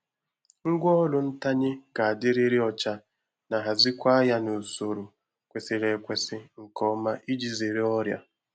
Ngwá ọrụ ntanye ga-adịriri ọcha na hazikwe ya n’usoro kwesiri ekwesi nke ọma iji zere ọrịa.